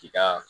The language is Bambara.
K'i ka